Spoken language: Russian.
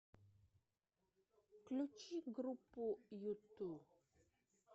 включи группу юту